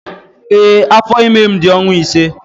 Ee, afọ ime m dị ọnwa ise.